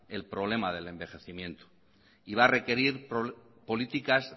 el problema del envejecimiento y va a requerir políticas